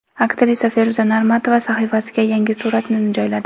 Aktrisa Feruza Normatova sahifasiga yangi suratini joyladi.